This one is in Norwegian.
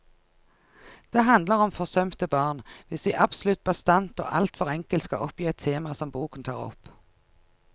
Det handler om forsømte barn, hvis vi absolutt bastant og alt for enkelt skal oppgi et tema som boken tar opp.